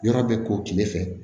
Yɔrɔ bɛ ko kile fɛ